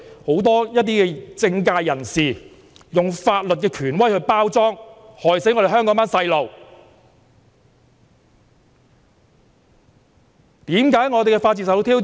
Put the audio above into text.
很多政界人士便是用法律權威作為包裝，害死香港的年輕人。